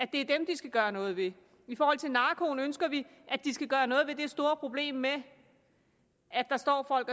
de skal gøre noget ved i forhold til narkoen ønsker vi at de skal gøre noget ved det store problem med at der står folk